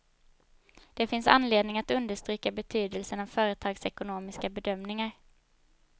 Det finns anledning att understryka betydelsen av företagsekonomiska bedömningar.